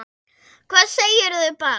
Hvað segirðu barn?